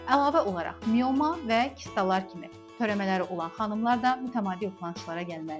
Əlavə olaraq mioma və kistalar kimi törəmələri olan xanımlar da mütəmadi olaraq kontrolçulara gəlməlidir.